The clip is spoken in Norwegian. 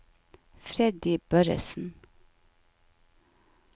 Freddy Børresen